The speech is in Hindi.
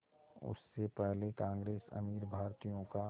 उससे पहले कांग्रेस अमीर भारतीयों का